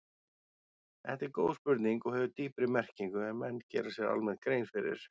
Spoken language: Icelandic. Þetta er góð spurning og hefur dýpri merkingu en menn gera sér almennt grein fyrir.